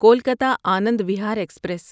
Kolkata Anand Vihar express